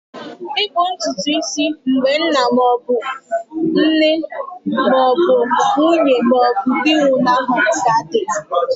Ịkpụ ntutu isi mgbe nne ma ọ bụ nna ma ọ bụ nwunye ma ọ bụ nwunye nwụnahụrụ ka dị.